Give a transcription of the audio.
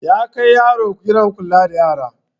Ya kai yaron gidan kula da yara.